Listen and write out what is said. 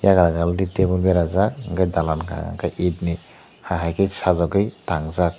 giagra gala dik tabul berajak enke dalak kaie hai hai ke sajukai tangjak.